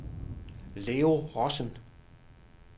Leo Rossen